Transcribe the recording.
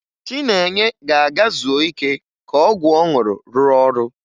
Chinenye ga-aga zuo ike ka ọgwụ ọ ṅụrụ rụọ ọrụ